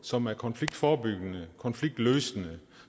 som er konfliktforebyggende konfliktløsende